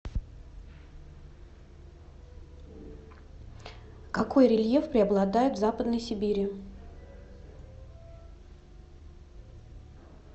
какой рельеф преобладает в западной сибири